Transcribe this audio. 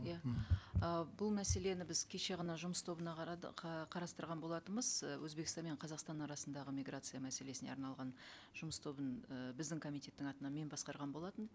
иә мхм ы бұл мәселені біз кеше ғана жұмыс тобына қарастырған болатынбыз ы өзбекстан мен қазақстан арасындағы миграция мәселесіне арналған жұмыс тобының ы біздің комитеттің атынан мен басқарған болатынмын